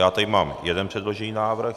Já tady mám jeden předložený návrh.